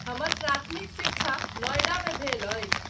हमर प्राथमिक शिक्षा नॉएडामे भेल अछि।